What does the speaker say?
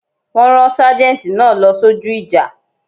Wọ́n rán sâjéntì náà lọ sójú ìjà